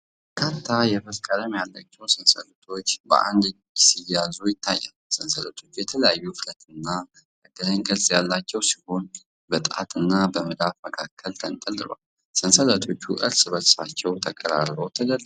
በርካታ የብር ቀለም ያላቸው ሰንሰለቶች በአንድ እጅ ሲያዙ ይታያሉ። ሰንሰለቶቹ የተለያዩ ውፍረትና የአገናኝ ቅርጽ ያላቸው ሲሆን፤ በጣትና በመዳፍ መካከል ተንጠልጥለዋል። ሰንሰለቶቹ እርስ በርሳቸው ተቀራርበው ተደርድረዋል።